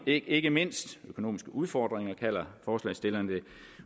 ikke mindst økonomiske udfordringer kalder forslagsstillerne det